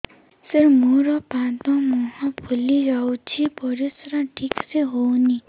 ସାର ମୋରୋ ପାଦ ମୁହଁ ଫୁଲିଯାଉଛି ପରିଶ୍ରା ଠିକ ସେ ହଉନି